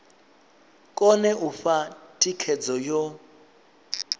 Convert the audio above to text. kone u fha thikhedzo yo